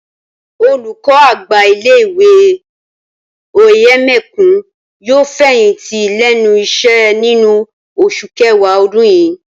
Olùkọ́-àgbà ilé ìwé Òyèmẹkùn yóò fẹ̀yìntì lẹ́nu iṣẹ́ nínú oṣù kẹwàá ọdún yìí